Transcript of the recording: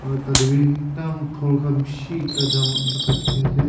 aru tah teh bhi ekdum ghor khan bishi ekta jaba jaga dikhi ase.